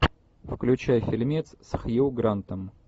включай фильмец с хью грантом